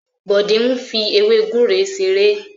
Bode n fí ewe gúre ṣeré.